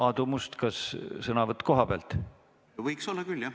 Aadu Must, kas sõnavõtt kohapealt?